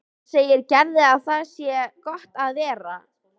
Hann segir Gerði að þarna sé gott að vera.